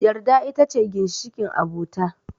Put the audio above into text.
Yarda ita ce ginshiƙin abota